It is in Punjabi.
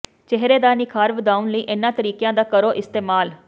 ਚਿਹਰੇ ਦਾ ਨਿਖਾਰ ਵਧਾਉਣ ਲਈ ਇਨ੍ਹਾਂ ਤਰੀਕਿਆਂ ਦਾ ਕਰੋ ਇਸਤੇਮਾਲ